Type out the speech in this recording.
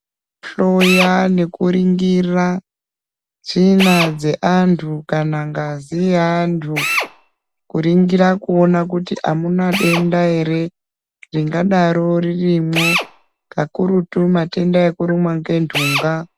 Kuhloya nekuringira, tsvina dzeantu kana ngazi yeantu ,kuringirwa kuona kuti amuna denda ere ,ringadaro ririmwo ,kakurutu matenda ekurumwa ngentunga.